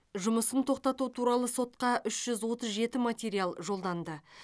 жұмысын тоқтату туралы сотқа үш жүз отыз жеті материал жолданды